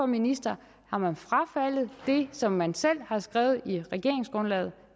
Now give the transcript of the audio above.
ministeren har man frafaldet det som man selv har skrevet i regeringsgrundlaget